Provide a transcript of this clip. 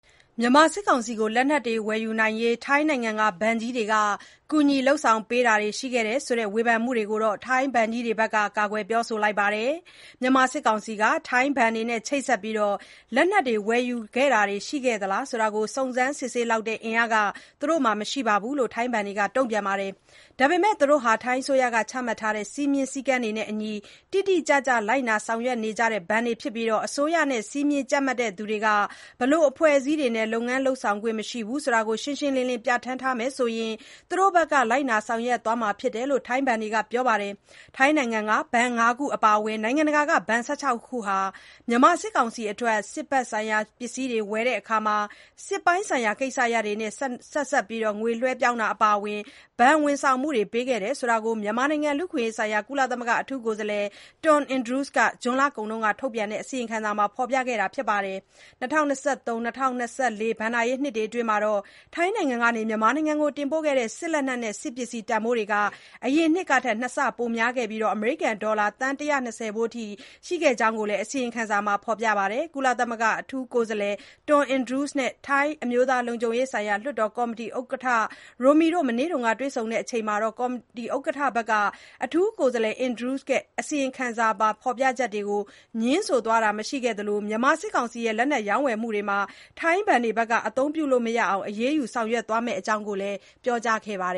မြန်မာစစ်ကောင်စီကို လက်နက်တွေ ဝယ်ယူနိုင်အောင် ထိုင်းနိုင်ငံက ဘဏ်ကြီးတွေက ကူညီ လုပ်ဆောင်ပေးတာတွေ ရှိခဲ့တယ်ဆိုတဲ့ ဝေဖန်မှုတွေကို ထိုင်းဘဏ်ကြီးတွေက ကာကွယ်ပြောဆိုလိုက်ပါတယ်။ မြန်မာစစ်ကောင်စီက သူတို့ရဲ့ ဘဏ်တွေနဲ့ ချိတ်ဆက်ပြီး လက်နက် ဝယ်ယူတာတွေ ရှိခဲ့သလား ဆိုတာကို စုံးစမ်းစစ်ဆေးနိုင်လောက်တဲ့ အင်အား သူတို့မှာမရှိဘူးလို့ ထိုင်းဘဏ်တွေက တုံ့ပြန်ပါတယ်။ ဒါပေမဲ့ သူတို့ဟာ ထိုင်းအစိုးရက ချမှတ်ထားတဲ့ စည်းမျဥ်းစည်းကမ်းတွေနဲ့ အညီ တိတိကျကျ လိုက်နာ ဆောင်ရွက်နေကြတဲ့ ဘဏ်တွေ ဖြစ်ပြီး အစိုးရနဲ့ စည်းမျဥ်းကြပ်မတ်သူတွေက ဘယ်လို အဖွဲ့အစည်းတွေနဲ့တော့ လုပ်ငန်း လုပ်ဆောင်ခွင့် မရှိဘူးလို့ ရှင်းရှင်းလင်းလင်း ပြဌာန်းထားမယ်ဆိုရင် သူတို့ဘက်က လိုက်နာ ဆောင်ရွက်သွားမှာ ဖြစ်တယ်လို့ ထိုင်းဘဏ်တွေက ပြောပါတယ်။ ထိုင်းနိုင်ငံက ဘဏ် ၅ ခု အပါအဝင် နိုင်ငံတကာက ဘဏ် ၁၆ ခုဟာ မြန်မာ စစ်ကောင်စီအတွက် စစ်ဘက်ဆိုင်ရာ ပစ္စည်းတွေ ၀ယ်ယူတာ၊ စစ်ပိုင်းဆိုင်ရာ ကိစ္စရပ်တွေနဲ့ ဆက်စပ်ပြီး ငွေလွှဲပြောင်းတာ အပါအဝင် ဘဏ်၀န်ဆောင်မှုတွေ ပေးခဲ့ကြောင်း မြန်မာနိုင်ငံ လူ့အခွင့်အရေး ဆိုင်ရာ ကုလသမဂ္ဂ အထူးကိုယ်စားလှယ် Tom Andrews က ဇွန်လကုန်က ထုတ်ပြန်တဲ့ အစီရင်ခံစာမှာ ဖော်ပြထားတာ ဖြစ်ပါတယ်။ ၂၀၂၃-၂၀၂၄ ဘဏ္ဍာရေးနှစ် အတွင်း ထိုင်းနိုင်ငံကနေ မြန်မာနိုင်ငံကို တင်ပို့ခဲ့တဲ့ စစ်လက်နက်နဲ့ စစ်ပစ္စည်းတန်ဖိုးဟာ အရင်နှစ်ကထက် နှစ်ဆ ပိုများခဲ့ပြီး အမေရိကန် ဒေါ်လာ သန်း ၁၂၀ ဖိုးအထိ ရှိတဲ့အကြောင်းလည်း အစီရင်ခံစာက ဖော်ပါတယ်။ ကုလအထူးကိုယ်စားလှယ် Tom Andrews နဲ့ ထိုင်းအမျိုးသားလုံခြုံရေးဆိုင်ရာ လွှတ်တော်ကော်မတီ ဥက္ကဋ္ဌ Rangsiman Rome တို့ မနေ့က တွေ့ဆုံချိန်မှာတော့ ကော်မတီ ဥက္ကဋ္ဌ Rangsiman Rome က အထူးကိုယ်စားလှယ် Andrews ရဲ့ အစီရင်ခံစာပါ ဖော်ပြချက်တွေကို ငြင်းဆိုသွားခဲ့တာ မရှိသလို၊ မြန်မာစစ်ကောင်စီရဲ့ လက်နက် ရောင်းဝယ်မှုတွေမှာ ထိုင်းဘဏ်တွေ အသုံးပြုလို့မရအောင် အရေးယူ ဆောင်ရွက်သွားမယ့်အကြောင်း ပြောကြားခဲ့ပါတယ်